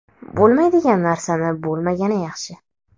Bo‘lmaydigan narsani bo‘lmagani yaxshi.